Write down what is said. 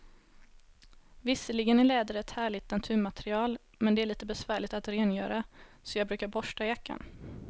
Visserligen är läder ett härligt naturmaterial, men det är lite besvärligt att rengöra, så jag brukar borsta jackan.